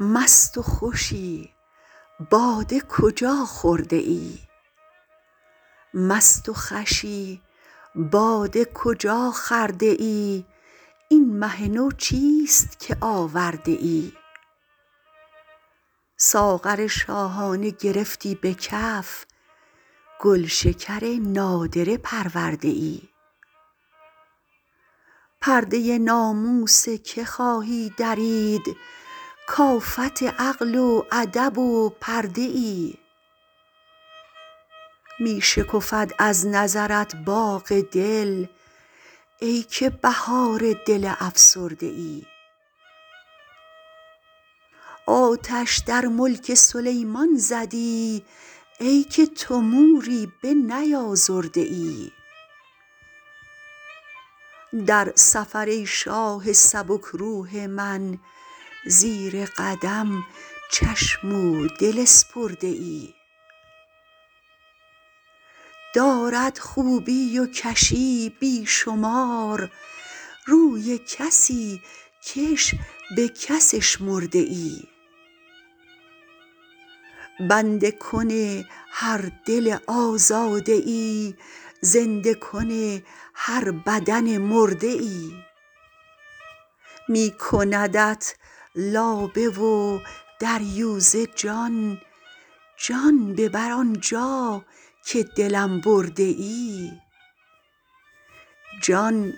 مست و خوشی باده کجا خورده ای این مه نو چیست که آورده ای ساغر شاهانه گرفتی به کف گلشکر نادره پرورده ای پرده ناموس که خواهی درید کآفت عقل و ادب و پرده ای می شکفد از نظرت باغ دل ای که بهار دل افسرده ای آتش در ملک سلیمان زدی ای که تو موری بنیازرده ای در سفر ای شاه سبک روح من زیر قدم چشم و دل اسپرده ای دارد خوبی و کشی بی شمار روی کسی کش بک اشمرده ای بنده کن هر دل آزاده ای زنده کن هر بدن مرده ای می کندت لابه و دریوزه جان جان ببر آنجا که دلم برده ای جان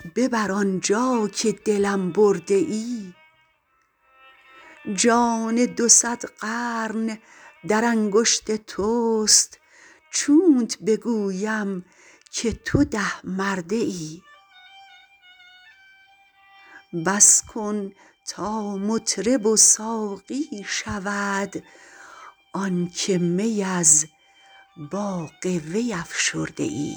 دو صد قرن در انگشت تست چونت بگویم که توده مرده ای بس کن تا مطرب و ساقی شود آنکه می از باغ وی افشرده ای